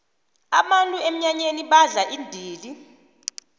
abantu emnyanyeni badla indini